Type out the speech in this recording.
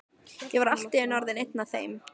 Ég var allt í einu orðinn einn með þeim.